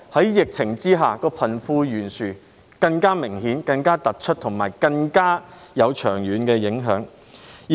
在疫情之下，香港的貧富懸殊情況更明顯，更突出，並造成更長遠的影響。